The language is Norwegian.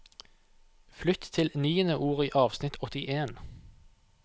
Flytt til niende ord i avsnitt åttien